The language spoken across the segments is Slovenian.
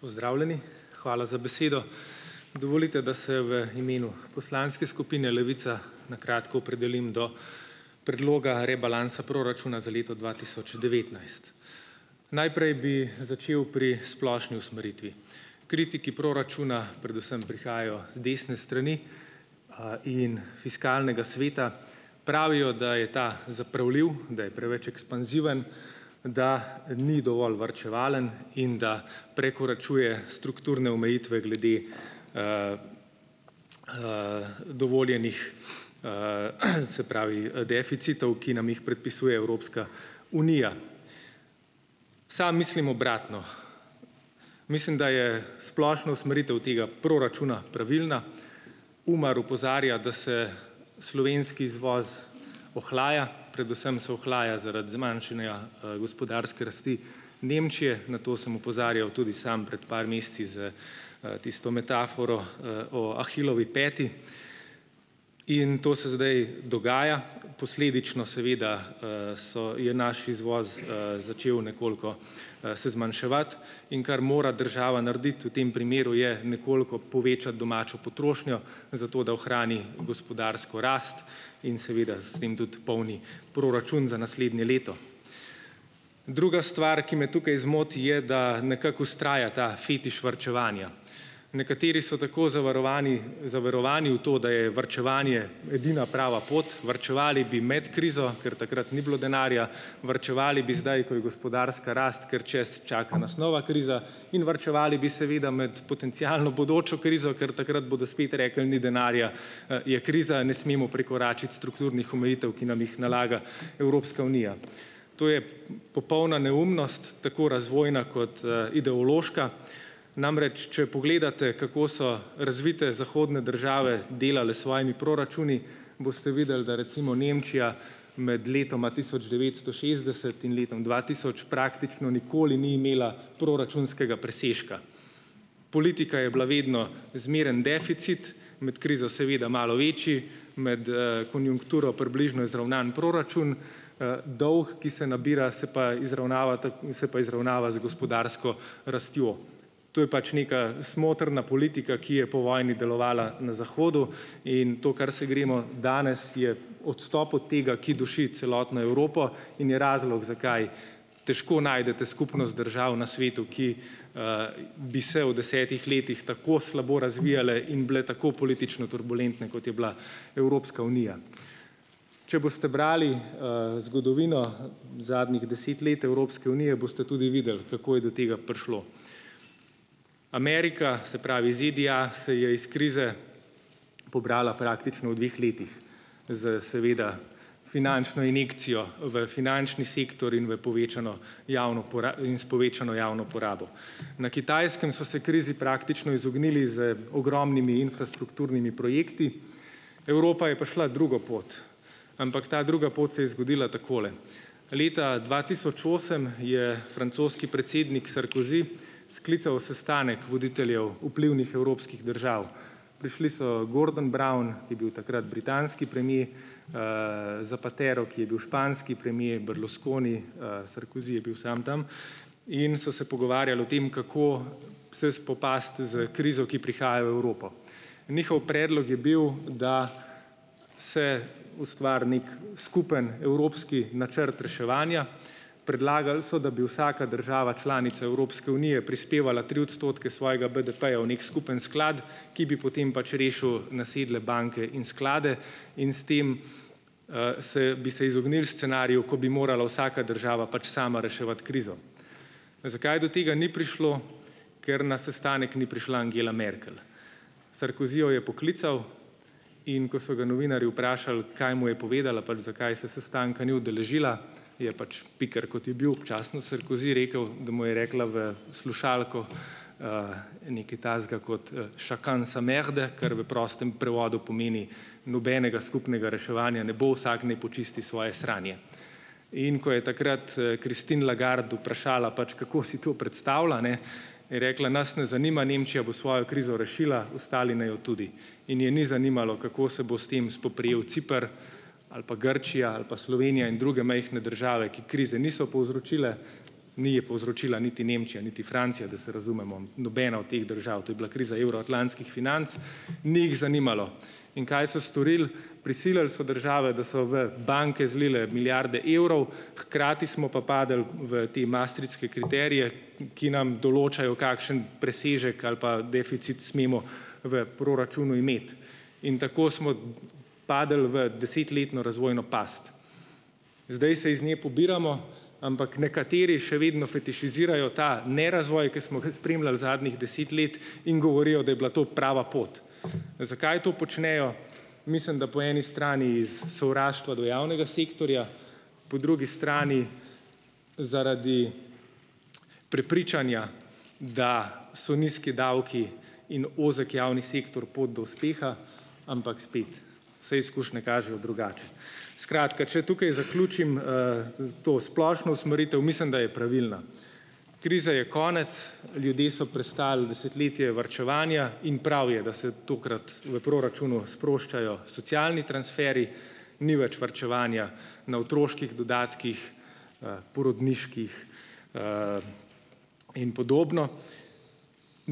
Pozdravljeni! Hvala za besedo. Dovolite, da se v imenu poslanske skupine Levica na kratko opredelim do predloga rebalansa proračuna za leto dva tisoč devetnajst. Najprej bi začel pri splošni usmeritvi. Kritiki proračuna predvsem prihajajo z desne strani, in Fiskalnega sveta. pravijo, da je ta zapravljiv, da je preveč ekspanziven, da ni dovolj varčevalen, in da prekoračuje strukturne omejitve glede, dovoljenih, se pravi deficitov, ki nam jih predpisuje Evropska unija. Sam mislim obratno. Mislim, da je splošna usmeritev tega proračuna pravilna. UMAR opozarja, da se slovenski izvoz ohlaja, predvsem se ohlaja zaradi zmanjšanja, gospodarske rasti Nemčije. Na to sem opozarjal tudi sam pred par meseci s, tisto metaforo, o Ahilovi peti in to se zdaj dogaja, posledično seveda, se je naš izvoz, začel nekoliko, se zmanjševati, in kar mora država narediti v tem primeru, je nekoliko povečati domačo potrošnjo za to, da ohrani gospodarsko rast in seveda s tem tudi polni proračun za naslednje leto. Druga stvar, ki me tukaj zmoti, je, da nekako vztraja ta fetiš varčevanja. Nekateri so tako zavarovani, zaverovani v to, da je varčevanje edina prava pot, varčevali bi med krizo, ker takrat ni bilo denarja, varčevali bi zdaj, ko je gospodarska rast, ker čaka nas nova kriza, in varčevali bi seveda med potencialno bodočo krizo, ker takrat bodo spet rekli, ni denarja, je kriza, ne smemo prekoračiti strukturnih omejitev, ki nam jih nalaga Evropska unija. To je popolna neumnost, tako razvojna kot, ideološka. Namreč, če pogledate kako so razvite zahodne države delale s svojimi proračuni, boste videli, da recimo Nemčija med letoma tisoč devetsto šestdeset in letom dva tisoč praktično nikoli ni imela proračunskega presežka. Politika je bila vedno zmeren deficit, med krizo seveda malo večji, med, konjunkturo približno izravnan proračun, dolg, ki se nabira, se pa izravnava, se pa izravnava z gospodarsko rastjo. To je pač neka smotrna politika, ki je po vojni delovala na zahodu, in to, kar se gremo danes, je odstop od tega, ki duši celotno Evropo, in je razlog, zakaj težko najdete skupnost držav na svetu, ki bi se v desetih letih tako slabo razvijale in bile tako politično turbulentne, kot je bila Evropska unija. Če boste brali, zgodovino zadnjih deset let Evropske unije, boste tudi videli, kako je do tega prišlo. Amerika, se pravi, ZDA, se je iz krize pobrala praktično v dveh letih, s seveda finančno injekcijo v finančni sektor in v povečano javno in s povečano javno porabo. Na Kitajskem so se krizi praktično izognili z ogromnimi infrastrukturnimi projekti, Evropa je pa šla drugo pot, ampak ta druga pot se je zgodila takole. Leta dva tisoč osem je francoski predsednik Sarkozy, sklical sestanek voditeljev vplivnih evropskih držav. Prišli so Gordon Brown, je bil takrat britanski premier, Zapatero, ki je bil španski premier, Berlusconi, Sarkozy je bil sam tam, in so se pogovarjali o tem, kako se spopasti s krizo, ki prihaja v Evropo. Njihov predlog je bil, da se ustvari neki skupen evropski načrt reševanja. Predlagali so, da bi vsaka država članica Evropske unije prispevala tri odstotke svojega BDP-ja v neki skupen sklad, ki bi potem pač rešil nasedle banke in sklade in s tem, se bi se izognili scenariju, ko bi morala vsaka država pač sama reševati krizo. Zakaj do tega ni prišlo? Ker na sestanek ni prišla Angela Merkel. Sarkozy jo je poklical, in ko so ga novinarji vprašali, kaj mu je povedala, pač zakaj se sestanka ni udeležila, je pač piker, kot je bil občasno, Sarkozy rekel, da mu je rekla v slušalko, nekaj takega kot, "chacun sa merde", kar v prostem prevodu pomeni "nobenega skupnega reševanja ne bo, vsak naj počisti svoje sranje". In ko je takrat, Christine Lagarde vprašala pač, kako si to predstavlja, a ne, je rekla: "Nas ne zanima, Nemčija bo svojo krizo rešila, ostali naj jo tudi." In je ni zanimalo, kako se bo s tem spoprijel Ciper ali pa Grčija ali pa Slovenija in druge majhne države, ki krize niso povzročile - ni je povzročila niti Nemčija niti Francija, da se razumemo, nobena od teh držav, to je bila kriza evroatlantskih financ -, ni jih zanimalo. In kaj so storili - prisilili so države, da so v banke zlile milijarde evrov, hkrati smo pa padli v te maastrichtske kriterije, ki nam določajo, kakšen presežek ali pa deficit smemo v proračunu imeti. In tako smo padlo v desetletno razvojno past. Zdaj se iz nje pobiramo, ampak nekateri še vedno fetišizirajo ta nerazvoj, ki smo ga spremljali zadnjih deset let, in govorijo, da je bila to prava pot. Zakaj to počnejo - mislim, da po eni strani iz sovraštva do javnega sektorja, po drugi strani zaradi prepričanja, da so nizki davki in ozek javni sektor pot do uspeha, ampak spet, vse izkušnje kažejo drugače. Skratka, če tukaj zaključim, to splošno usmeritev, mislim, da je pravilna. Krize je konec, ljudje so prestali desetletje varčevanja, in prav je, da se tokrat v proračunu sproščajo socialni transferji, ni več varčevanja na otroških dodatkih, porodniških, in podobno.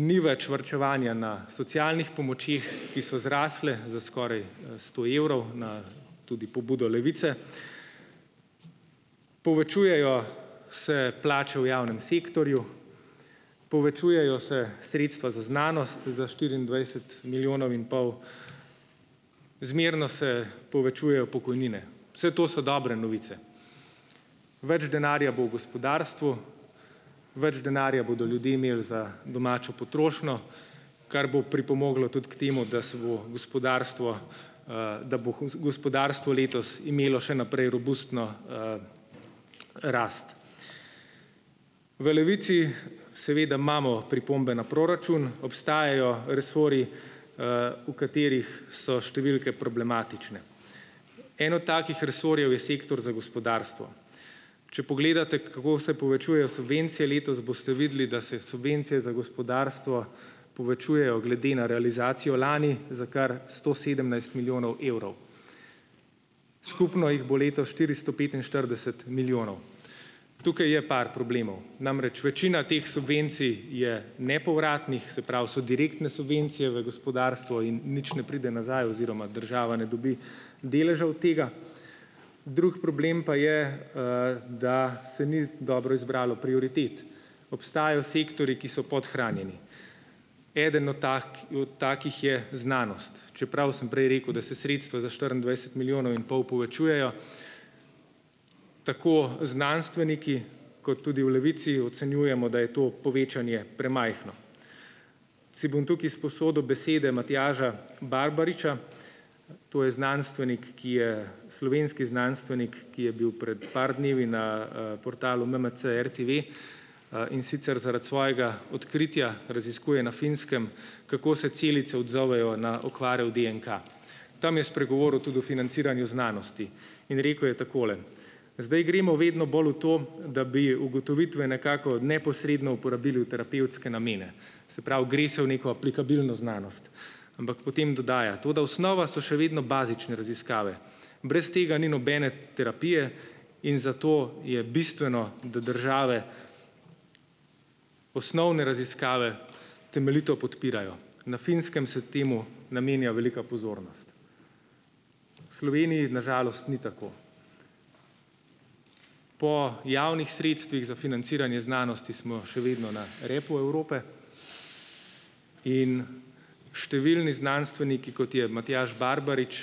Ni več varčevanja na socialnih pomočeh, ki so zrasle za skoraj sto evrov, na tudi pobudo Levice. Povečujejo se plače v javnem sektorju, povečujejo se sredstva za znanost za štiriindvajset milijonov in pol, zmerno se povečujejo pokojnine. Vse to so dobre novice, več denarja bo v gospodarstvu, več denarja bodo ljudje imeli za domačo potrošnjo, kar bo pripomoglo tudi k temu, da se bo gospodarstvo, da bo gospodarstvo letos imelo še naprej robustno, rast. V Levici seveda imamo pripombe na proračun. Obstajajo resorji, v katerih so številke problematične. En od takih resorjev je sektor za gospodarstvo. Če pogledate, kako se povečujejo subvencije letos, boste videli, da se subvencije za gospodarstvo povečujejo glede na realizacijo lani za kar sto sedemnajst milijonov evrov, skupno jih bo letos štiristo petinštirideset milijonov. Tukaj je par problemov, namreč, večina teh subvencij je nepovratnih, se pravi, so direktne subvencije v gospodarstvo in nič ne pride nazaj oziroma država ne dobi deležev od tega. Drug problem pa je, da se ni dobro izbralo prioritet, obstajajo sektorji, ki so podhranjeni. Eden od tako, od takih je znanost. Čeprav sem prej rekel, da se sredstva za štiriindvajset milijonov in pol povečujejo, tako znanstveniki kot tudi v Levici ocenjujemo, da je to povečanje premajhno. Si bom tukaj izposodil besede Matjaža Barbariča, to je znanstvenik, ki je slovenski znanstvenik, ki je bil pred par dni na v portalu MMC RTV, in sicer zaradi svojega odkritja - raziskuje na Finskem - kako se celice odzovejo na okvare v DNK. Tam je spregovoril tudi o financiranju znanosti in rekel je takole: "Zdaj gremo vedno bolj v to, da bi ugotovitve nekako neposredno uporabili v terapevtske namene." Se pravi, gre se v neko aplikabilno znanost, ampak potem dodaja: "Toda osnova so še vedno bazične raziskave, brez tega ni nobene terapije in zato je bistveno, da države osnovne raziskave temeljito podpirajo." Na Finskem se temu namenja velika pozornost, v Sloveniji, na žalost ni tako. Po javnih sredstvih za financiranje znanosti smo še vedno na repu Evrope in številni znanstveniki, kot je Matjaž Barbarič,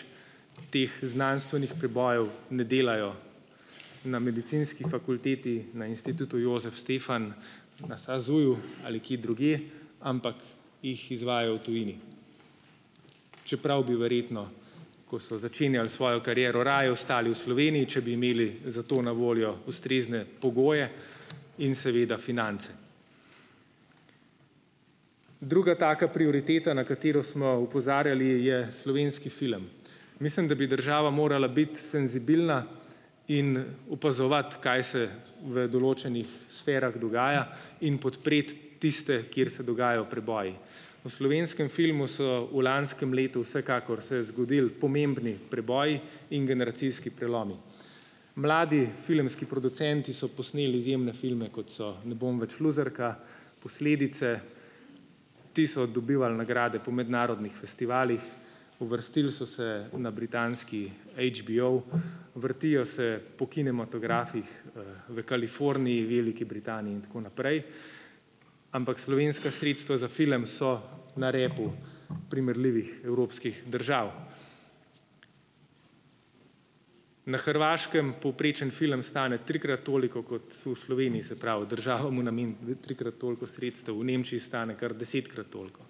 teh znanstvenih prebojev ne delajo na medicinski fakulteti, na Institutu Jozef Stefan, na SAZU-ju ali kje drugje, ampak jih izvajajo v tujini, čeprav bi verjetno, ko so začenjali svojo kariero, raje ostali v Sloveniji, če bi imeli za to na voljo ustrezne pogoje in seveda finance. Druga taka prioriteta, na katero smo opozarjali, je slovenski film. Mislim, da bi država morala biti senzibilna in opazovati, kaj se v določenih sferah dogaja, in podpreti tiste, kjer se dogajajo preboji. V slovenskem filmu so v lanskem letu vsekakor so se zgodili pomembni preboji in generacijski prelomi. Mladi filmski producenti so posneli izjemne filme, kot so "Ne bom več luzerka", "Posledice". Ti so dobivali nagrade po mednarodnih festivalih, uvrstili so se na britanski AGBO, vrtijo se po kinematografih v Kaliforniji, Veliki Britaniji in tako naprej, ampak slovenska sredstva za film so na repu primerljivih evropskih držav. Na Hrvaškem povprečen film stane trikrat toliko kot so v Sloveniji, se pravi, država mu nameni trikrat toliko sredstev, v Nemčiji stane kar desetkrat toliko.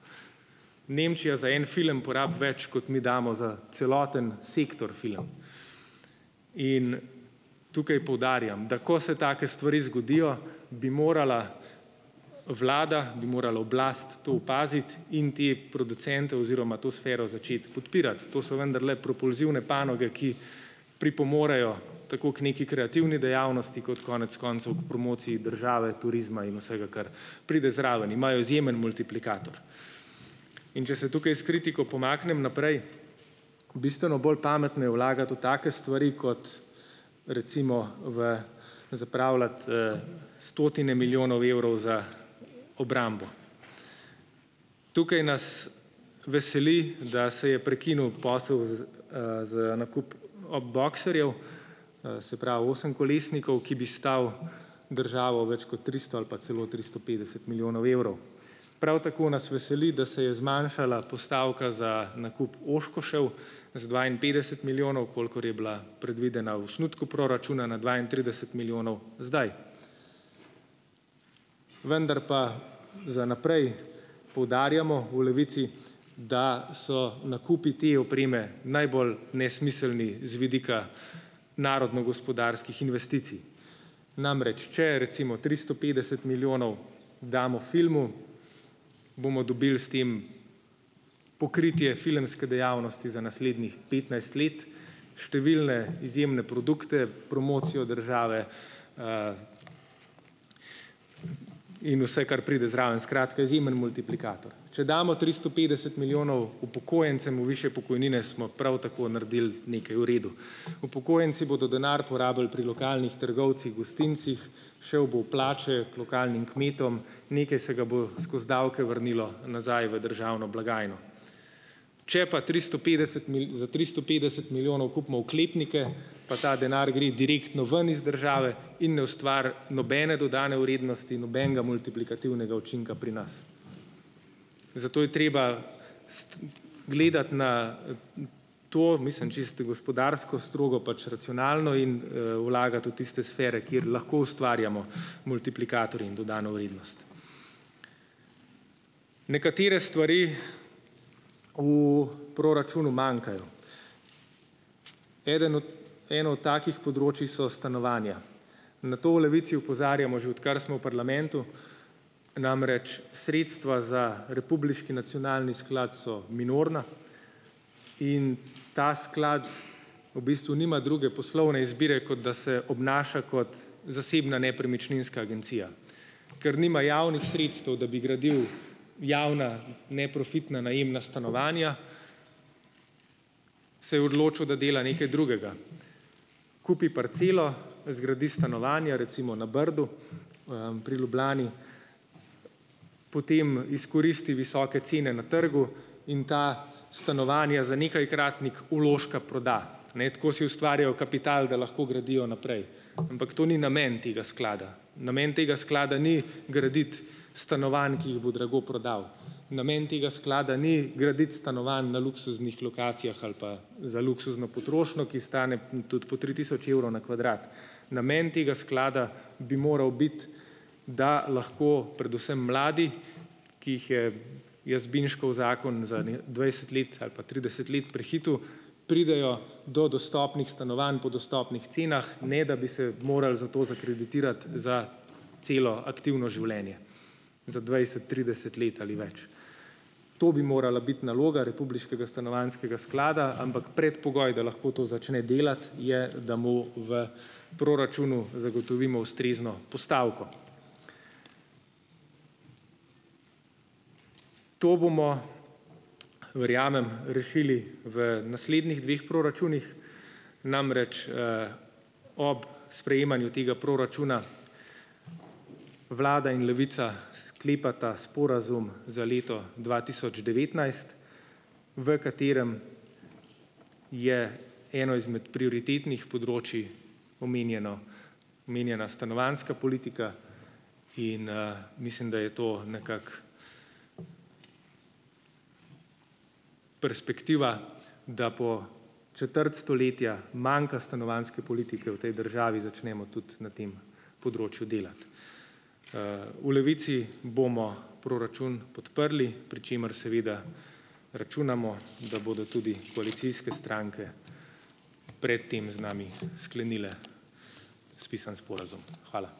Nemčija za en film porabi več, kot mi damo za celoten sektor film. In tukaj poudarjam, da ko se take stvari zgodijo, bi morala vlada, bi morala oblast to opaziti, in te producente oziroma to sfero začeti podpirati, ker to so vendarle propulzivne panoge, ki pripomorejo tako k neki kreativni dejavnosti kot konec koncev k promociji države, turizma in vsega, kar pride zraven. Imajo izjemen multiplikator. In če se tukaj s kritiko pomaknem naprej. Bistveno bolj pametno je vlagati v take stvari kot recimo v zapravljati, stotine milijonov evrov za obrambo. Tukaj nas veseli, da se je prekinil posel za nakup bokserjev, se pravi, osemkolesnikov, ki bi stali državo več kot tristo ali pa celo tristo petdeset milijonov evrov. Prav tako nas veseli, da se je zmanjšala postavka za nakup oshkoshev z dvainpetdeset milijonov - kolikor je bila predvidena v osnutku proračuna - na dvaintrideset milijonov zdaj. Vendar pa za naprej, poudarjamo v Levici, da so nakupi te opreme najbolj nesmiselni z vidika narodnogospodarskih investicij. Namreč, če recimo tristo petdeset milijonov damo filmu, bomo dobili s tem pokritje filmske dejavnosti za naslednjih petnajst let, številne izjemne produkte, promocijo države, in vse, kar pride zraven, skratka, izjemen multiplikator. Če damo tristo petdeset milijonov upokojencem bodo višje pokojnine, smo prav tako naredili nekaj v redu. Upokojenci bodo denar porabili pri lokalnih trgovcih, gostincih, šel bo v plače k lokalnim kmetom, nekaj se ga bo skozi davke vrnilo nazaj v državno blagajno. Če pa tristo petdeset za tristo petdeset milijonov kupimo oklepnike, pa ta denar gre direktno ven iz države in ne ustvari nobene dodane vrednosti in nobenega multiplikativnega učinka pri nas, zato je treba s gledati na to, mislim čisto gospodarsko, strogo pač racionalno, in vlagati v tiste sfere, kjer lahko ustvarjamo multiplikatorje in dodano vrednost. Nekatere stvari v proračunu manjkajo. Eden en od takih področij so stanovanja in na to v Levici opozarjamo, že odkar smo v parlamentu. Namreč, sredstva za republiški nacionalni sklad so minorna in ta sklad v bistvu nima druge poslovne izbire, kot da se obnaša kot zasebna nepremičninska agencija. Ker nima javnih sredstev, da bi gradil javna neprofitna najemna stanovanja, se je odločil, da dela nekaj drugega - kupi parcelo, zgradi stanovanja recimo na Brdu, pri Ljubljani, potem izkoristi visoke cene na trgu in ta stanovanja za nekajkratnik vložka proda - ne, tako si ustvarjajo kapital, da lahko gradijo naprej. Ampak to ni namen tega sklada. Namen tega sklada ni graditi stanovanj, ki jih bo drago prodal. Namen tega sklada ni graditi stanovanj na luksuznih lokacijah ali pa za luksuzno potrošnjo, ki stane tudi po tri tisoč evrov na kvadrat. Namen tega sklada bi moral biti, da lahko predvsem mladi, ki jih je Jazbinškov zakon za ene dvajset let ali pa trideset let prehitel, pridejo do dostopnih stanovanj po dostopnih cenah, ne da bi se morali za to zakreditirati za celo aktivno življenje za dvajset, trideset let ali več. To bi morala biti naloga republiškega stanovanjskega sklada, ampak predpogoj, da lahko to začne delati, je, da mu v proračunu zagotovimo ustrezno postavko. To bomo, verjamem, rešili v naslednjih dveh proračunih, namreč, ob sprejemanju tega proračuna vlada in Levica sklepata sporazum za leto dva tisoč devetnajst, v katerem je eno izmed prioritetnih področij omenjeno, omenjena stanovanjska politika in, mislim, da je to nekako perspektiva, da bo četrt stoletja manka stanovanjske politike v tej državi začnemo tudi na tem področju delati. v Levici bomo proračun podprli, pri čemer seveda računamo, da bodo tudi koalicijske stranke pred tem z nami sklenile spisan sporazum. Hvala.